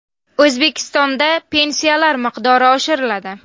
O‘zbekistonda pensiyalar miqdori oshiriladi.